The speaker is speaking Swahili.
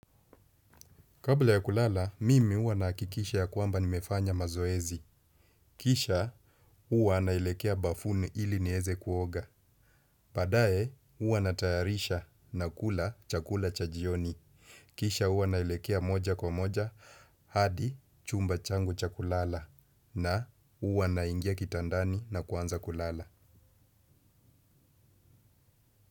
Kabla ya kulala, mimi huwa nahakikisha ya kwamba nimefanya mazoezi. Kisha, huwa naelekea bafuni ili nieze kuoga. Baadaye, huwa natayarisha nakula chakula cha jioni. Kisha, huwa naelekea moja kwa moja, hadi chumba changu cha kulala. Na, huwa naingia kitandani na kuanza kulala.